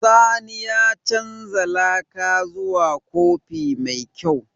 Sani ya canza laka zuwa kofi mai kyau.